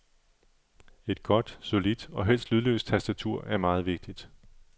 Et godt, solidt og helst lydløst tastatur er meget vigtigt.